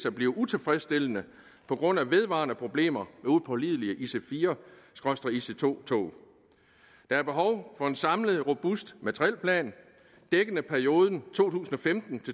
at blive utilfredsstillende på grund af vedvarende problemer upålidelige ic4 ic2 tog der er behov for en samlet robust materielplan dækkende perioden to tusind og femten